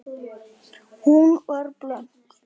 Hún var blönk.